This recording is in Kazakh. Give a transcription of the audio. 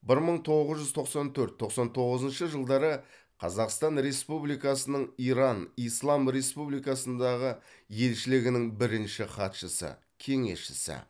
бір мың тоғыз жүз тоқсан төртінші тоқсан тоғызыншы жылдары қазақстан республикасының иран ислам республикасындағы елшілігінің бірінші хатшысы кеңесшісі